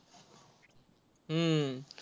हम्म